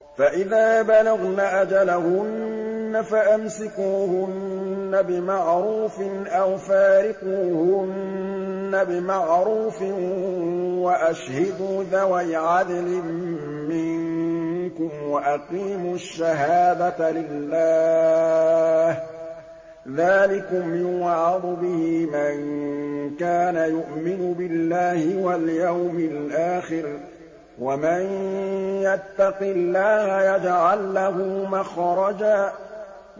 فَإِذَا بَلَغْنَ أَجَلَهُنَّ فَأَمْسِكُوهُنَّ بِمَعْرُوفٍ أَوْ فَارِقُوهُنَّ بِمَعْرُوفٍ وَأَشْهِدُوا ذَوَيْ عَدْلٍ مِّنكُمْ وَأَقِيمُوا الشَّهَادَةَ لِلَّهِ ۚ ذَٰلِكُمْ يُوعَظُ بِهِ مَن كَانَ يُؤْمِنُ بِاللَّهِ وَالْيَوْمِ الْآخِرِ ۚ وَمَن يَتَّقِ اللَّهَ يَجْعَل لَّهُ مَخْرَجًا